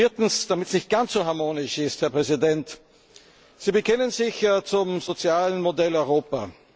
Viertens, damit es nicht ganz so harmonisch ist, Herr Präsident Sie bekennen sich zum sozialen Modell Europa.